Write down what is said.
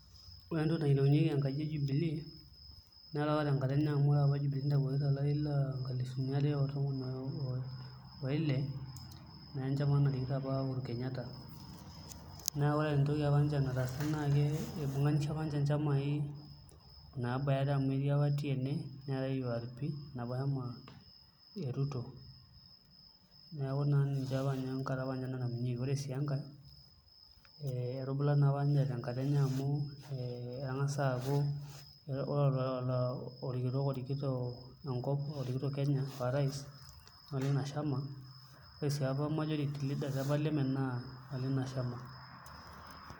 Ore entoli nayiolounyeki enkaji e jubilee nataa tenkata enye ore taata jubilee nitawuoki tolari lonkalifuni are otomon oile na enchama narikito apa uhuru kenyatta na ore entoki apa nataasa na kibunga na ibunganisha apa nchamai nabaya are are amu etii apa tienee neatae yuarpi ,enapashama eruto neaku ninche naapa enkata natangamunyeki pre si enkae etubula si enkae tenkata enye amu engasa aakubore orkitok orikito enkop orikito kenya aa orais na olina shama ore si majority leaders le parliament na olina shama .